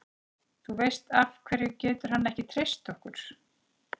Þú veist, af hverju getur hann ekki treyst okkur?